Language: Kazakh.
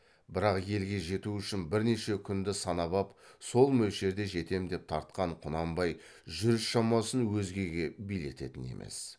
бірақ елге жету үшін бірнеше күнді санап ап сол мөлшерде жетем деп тартқан құнанбай жүріс шамасын өзгеге билететін емес